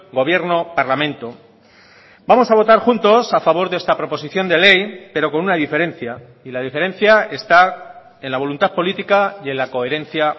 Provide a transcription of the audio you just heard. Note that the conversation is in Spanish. gobierno parlamento vamos a votar juntos a favor de esta proposición de ley pero con una diferencia y la diferencia está en la voluntad política y en la coherencia